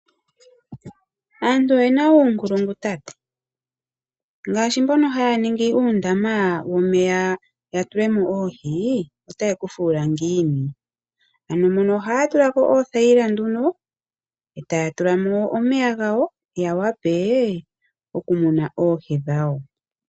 Aantu oye na uunkulungu, ngaashi mboka haya ningi uundama womeya ya tule mo oohi otaye ku fuula ngiini. Ohaya tula ko oothayila e taya tula mo omeya ya wape okumuna oohi dhawo.